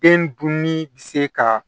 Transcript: Den dun ni bi se ka